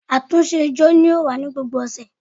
Àtúnṣe ijó yóò wa ni gbógbó ọsẹ